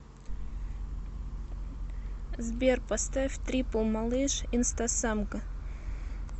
сбер поставь трипл малыш инстасамка